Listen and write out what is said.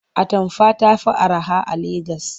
Atamfa ta fi araha a Legas.